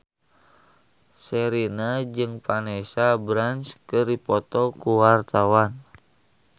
Sherina jeung Vanessa Branch keur dipoto ku wartawan